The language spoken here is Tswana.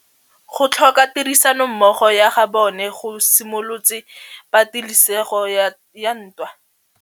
Go tlhoka tirsanommogo ga bone go simolotse patêlêsêgô ya ntwa.